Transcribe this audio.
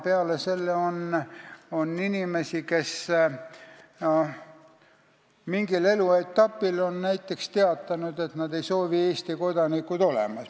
Peale selle on inimesi, kes on näiteks mingil eluetapil teatanud, et nad ei soovi Eesti kodanikud olla.